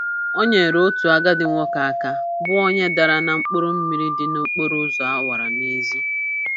O nyeere otu agadi nwoke aka bụ onye dara na mkpụrụmmiri dị n'okporoụzọ awara awa n'ezi.